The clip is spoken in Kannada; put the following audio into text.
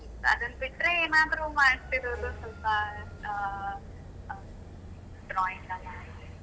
ಅದನ್ನು ಬಿಟ್ರೆ ಏನಾದ್ರೂ ಮಾಡ್ತಿರೋದು ಸ್ವಲ್ಪ ಆ ಆ drawing ಎಲ್ಲ ಹಾಗೆ.